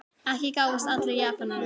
Ekki gáfust allir Japanir upp.